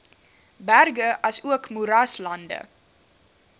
berge asook moeraslande